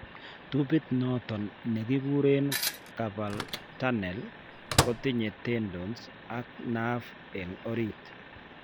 Tiubit noton nekikureen carpal tunnel kotinye tendons ak nerve eng' oriit